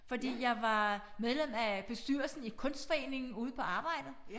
Fordi jeg var medlem af bestyrelsen i kunstforeningen ude på arbejdet